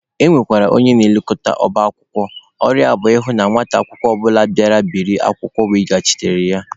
E nwekwara onye na-elekọta ọba akwụkwọ, ọrụ ya bụ ịhụ na nwata akwụkwọ ọbụla bịara biri akwụkwọ weghachiri ya.